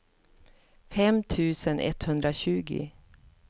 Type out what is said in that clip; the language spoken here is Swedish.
fem tusen etthundratjugo